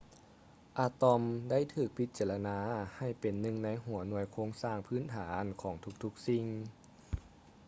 ອາຕອມ ໄດ້ຖືກພິຈາລະນາໃຫ້ເປັນໜຶ່ງໃນຫົວໜ່ວຍໂຄງສ້າງພື້ນຖານຂອງທຸກໆສິ່ງ